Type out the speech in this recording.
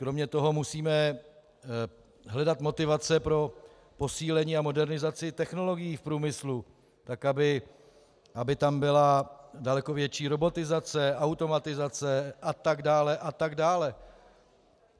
Kromě toho musíme hledat motivace pro posílení a modernizaci technologií v průmyslu tak, aby tam byla daleko větší robotizace, automatizace, a tak dále a tak dále.